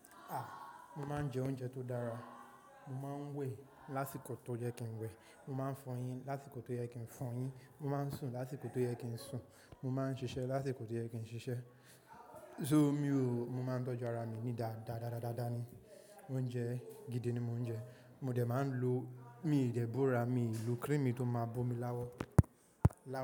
A! Mo máa ń jẹ oúnjẹ tó dára. Mo máa ń wẹ̀ lásìkò tó yẹ kí n wẹ̀. Mo máa ń fọ eyín lásìkò tó yẹ kí n fọ eyín. Mo máa ń sùn lásìkò tó yẹ kí n sùn. Mo máa ń ṣiṣẹ́ lásìkò tó yẹ kí n ṣiṣẹ́. So me o, mo máa ń tọ́jú ara mi ni dáadáadáádá ni. Oúnjẹ gidi ni mo ń jẹ. Mo dẹ̀ máa ń lo, mi ìdè bóra, mi ì lo cream mi tó máa bó mi láwọ̀, láwọ̀